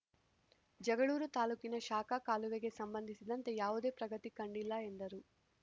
ಜಗಳೂರು ತಾಲೂಕಿನ ಶಾಖಾ ಕಾಲುವೆಗೆ ಸಂಬಂಧಿಸಿದಂತೆ ಯಾವುದೇ ಪ್ರಗತಿ ಕಂಡಿಲ್ಲ ಎಂದರು